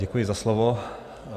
Děkuji za slovo.